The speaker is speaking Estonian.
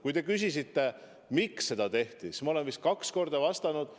Kui te küsisite, miks seda tehti – no ma olen sellele vist kaks korda vastanud.